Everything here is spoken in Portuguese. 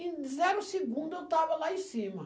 Em zero segundo eu estava lá em cima.